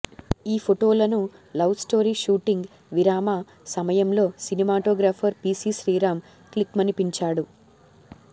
ఈ ఫొటోలను love story shooting విరామ సమయంలో సినిమాటోగ్రాఫర్ పీసీ శ్రీరామ్ క్లిక్మనిపించాడు